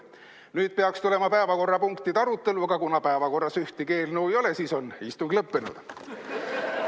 Nüüd peaks tulema päevakorrapunktide arutelu, aga kuna päevakorras ühtegi eelnõu ei ole, siis on istung lõppenud.